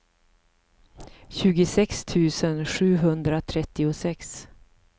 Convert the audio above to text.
tjugosex tusen sjuhundratrettiosex